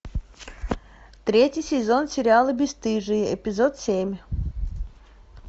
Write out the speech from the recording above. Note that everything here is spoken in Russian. третий сезон сериала бесстыжие эпизод семь